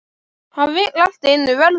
Hann vill allt í einu verða